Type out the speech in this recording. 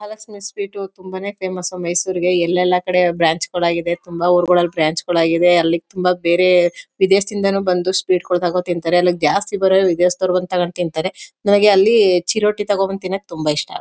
ಆಲಸಿನ sweet ತುಂಬಾನೇ famous ಮೈಸೂರಿಗೆ ಎಲ್ಲೆಲ್ಲ ಕಡೆ ಬ್ರಾಂಚ್ ಗಳಾಗಿವೆ ತುಂಬಾ ಊರುಗಳಲ್ಲಿ ಬ್ರಾಂಚ್ ಗಳಾಗಿದೇ ಅಲ್ಲಿ ತುಂಬಾ ಬೇರೆ ವಿದೇಶದಿಂದಾನು ಬಂದು ಸ್ವೀಟ್ ತಗೊಂಡು ತಿಂತಾರೆ ಅಲ್ಲಿ ಜಾಸ್ತಿ ಬರೋರು ಇದೇ ತಗೊಂಡು ತಿಂತಾರೆ ನನಗೆ ಅಲ್ಲಿ ಚಿರೋಟಿ ತಗೋ ಬಂದು ತಿನ್ನಕೆ ತುಂಬಾ ಇಷ್ಟ.